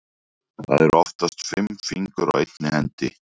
Það eru oftast fimm fingur á einni hendi.